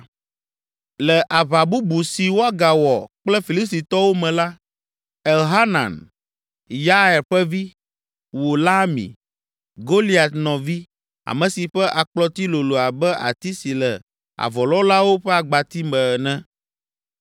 Le aʋa bubu si wogawɔ kple Filistitɔwo me la, Elhanan, Yair ƒe vi, wu Lahmi, Goliat nɔvi, ame si ƒe akplɔti lolo abe ati si le avɔlɔ̃lawo ƒe agbati me ene.